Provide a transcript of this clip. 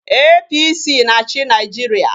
APC na-achị Nigeria